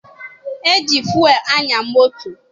E ji fụelụ anya moto.